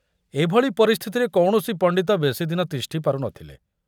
ଏଭଳି ପରିସ୍ଥିତିରେ କୌଣସି ପଣ୍ଡିତ ବେଶୀ ଦିନ ତିଷ୍ଠି ପାରୁ ନଥିଲେ।